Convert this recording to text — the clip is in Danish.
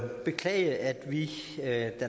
beklage at vi da